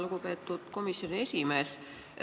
Lugupeetud komisjoni esimees!